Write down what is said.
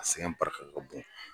A sɛgɛ barika ka bon